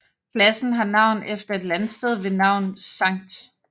Pladsen har navn efter et landsted ved navn St